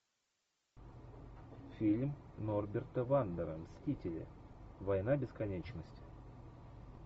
фильм норберта вандера мстители война бесконечности